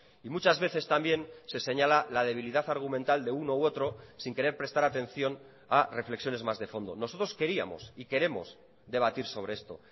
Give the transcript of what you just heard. y muchas veces también se señala la debilidad argumental de uno u otro sin querer prestar atención a reflexiones más de fondo nosotros queríamos y queremos debatir sobre esto